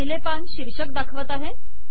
पहिले पान शीर्षक दाखवत आहे